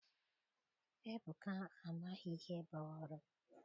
Ebuka amaghị ihe bụ oru.